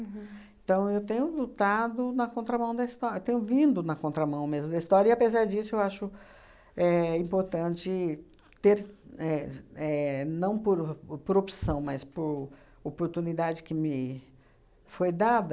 Então, eu tenho lutado na contramão da história, tenho vindo na contramão mesmo da história, e, apesar disso, eu acho éh importante ter éh éh, não por por opção, mas por oportunidade que me foi dada,